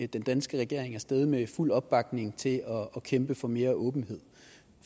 den danske regering af sted med fuld opbakning til at kæmpe for mere åbenhed